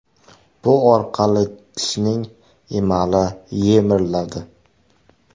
Bu orqali tishning emali yemiriladi.